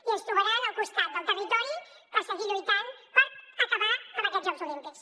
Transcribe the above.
i ens trobaran al costat del territori per seguir lluitant per acabar amb aquests jocs olímpics